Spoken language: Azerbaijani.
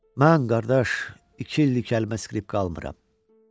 Mən, qardaş, iki illik skripka çalmıram.